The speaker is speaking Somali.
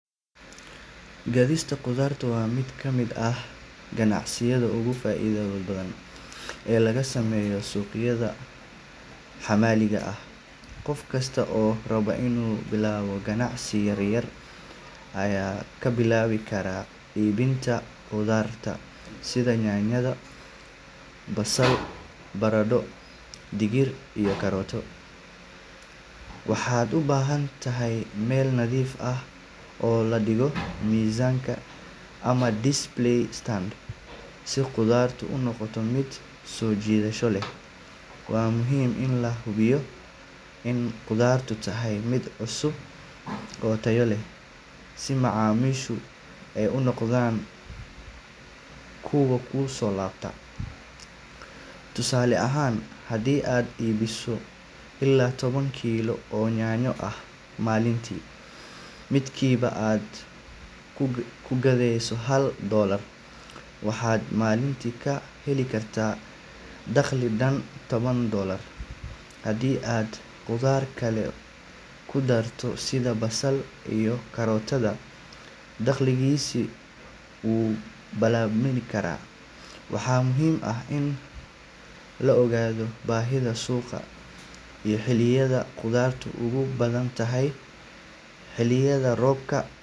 Gadista khudaarta waa mid ka mid ah ganacsiyada ugu faa’iidada badan ee laga sameeyo suuqyada maxalliga ah. Qof kasta oo raba inuu bilaabo ganacsi yar ayaa ka bilaabi kara iibinta khudaar sida yaanyo, basal, baradho, digir, iyo karootada. Waxaad u baahan tahay meel nadiif ah oo la dhigo miiska ama display stand si khudaartu u noqoto mid soo jiidasho leh. Waa muhiim in la hubiyo in khudaartu tahay mid cusub oo tayo leh si macaamiishu ay u noqdaan kuwo ku soo laabta. Tusaale ahaan, haddii aad iibiso ilaa toban kiilo oo yaanyo ah maalintii, midkiiba aad ku gadeyso hal dollar, waxaad maalintii ka heli kartaa dakhli dhan toban dollars. Haddii aad khudaar kale ku darto sida basal iyo karootada, dakhligaasi wuu labanlaabmi karaa. Waxaa muhiim ah in la ogaado baahida suuqa iyo xilliyada khudaartu ugu badan tahay. Xilliyada roobka, Gadista khudaarta waa mid ka mid ah ganacsiyada ugu faa’iidada badan ee laga sameeyo suuqyada maxalliga ah. Qof kasta oo raba inuu bilaabo ganacsi yar ayaa ka bilaabi kara iibinta khudaar sida yaanyo, basal, baradho, digir, iyo karootada. Waxaad u baahan tahay meel nadiif ah oo la dhigo miiska ama display stand si khudaartu u noqoto mid soo jiidasho leh. Waa muhiim in la hubiyo in khudaartu tahay mid cusub oo tayo leh si macaamiishu ay u noqdaan kuwo ku soo laabta. Tusaale ahaan, haddii aad iibiso ilaa toban kiilo oo yaanyo ah maalintii, midkiiba aad ku gadeyso hal dollar, waxaad maalintii ka heli kartaa dakhli dhan toban dollars. Haddii aad khudaar kale ku darto sida basal iyo karootada, dakhligaasi wuu labanlaabmi karaa. Waxaa muhiim ah in la ogaado baahida suuqa iyo xilliyada khudaartu ugu badan tahay. Xilliyada roobka.